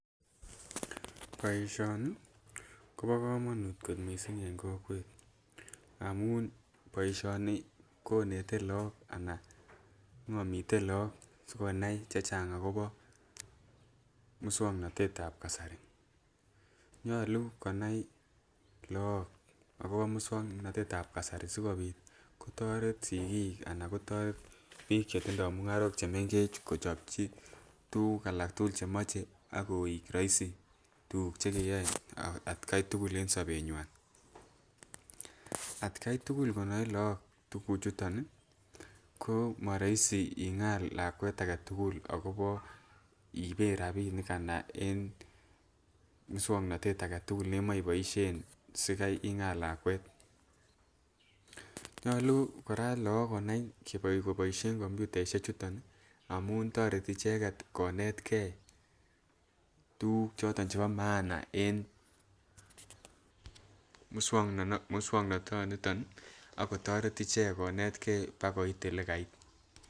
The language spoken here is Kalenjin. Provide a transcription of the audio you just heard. Boishoni Kobo komonut ko missing en kokwet amun boishoni konete lok anan ngomitet lok sikonai chechang akobo muswoknotet ab kasari, nyolu konai Lok akobo muswoknotet ab kasari sikopit kotoret sikik anan kotoret bik chetindoi mungarok chemenkech kochopji tukuk alak tukul chemoche ak koik roisi tukuk chekeyoe atgai tukul en sobenywan. Atgai tukul konoe lok tukuk chuton nii komoroiso ingal. Lakwet agetukul akobo iiben rabinik anan en muswoknotet aketukul neimoche iboishen sikai ingal lakwet nyolu Koraa Lok konai koboishen kombutaishek chuton Nii amun toreti icheket konetge tukuk chiton chebo maana en muswoknotoniton akotoret icheket konet gee bakoit lekait.